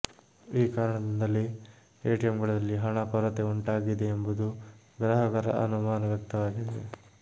ಈ ಕಾರಣದಿಂದಲೇ ಎಟಿಎಂಗಳಲ್ಲಿ ಹಣ ಕೊರತೆ ಉಂಟಾಗಿದೆ ಎಂಬುದು ಗ್ರಾಹಕರ ಅನುಮಾನ ವ್ಯಕ್ತವಾಗಿದೆ